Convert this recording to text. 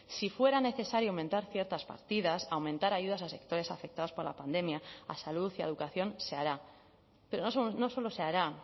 si fuera necesario aumentar ciertas partidas aumentar ayudas a sectores afectados por la pandemia a salud y a educación se hará pero no solo se hará